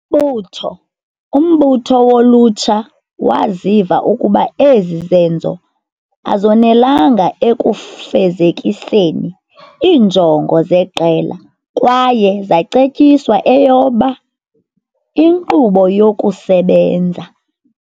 mbutho umbutho wolutsha waziva ukuba ezi zenzo azonelanga ekufezekiseni iinjongo zeqela kwaye zacetyiswa eyoba "Inkqubo yokuSebenza".